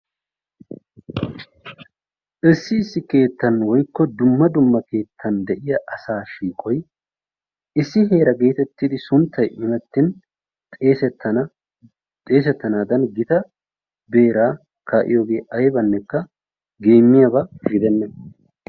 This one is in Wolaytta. Issi issi keettan woykko dumma dumma keettan de'iya asaa shiiqoyi issi heera geetettidi sunttayi imettin xeesettana xeesettanaadan gita beeraa kaa'iyogee aybannekka geemmiyaba gidenna.